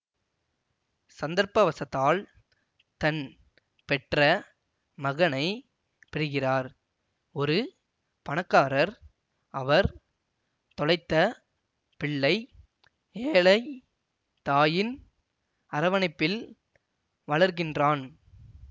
சந்தர்ப்பவசத்தால் தன் பெற்ற மகனை பிரிகிறார் ஒரு பணக்காரர் அவர் தொலைத்த பிள்ளை ஏழை தாயின் அரவணைப்பில் வளர்கின்றான்